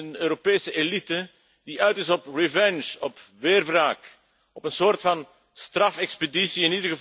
Dat is een Europese elite die uit is op revanche, op weerwraak, op een soort van strafexpeditie